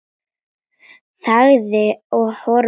Þagði og horfði.